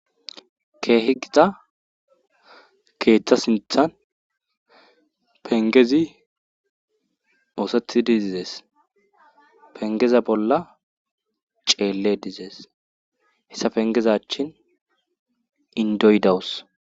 keehi gita keeththa sinthan pengezi moosethi dizizees pengeze bolla ceele dizees hessa pengezachin indoydawus